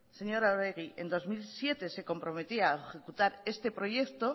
señora arregi en dos mil siete se comprometía a ejecutar este proyecto